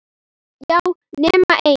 Já, nema ein!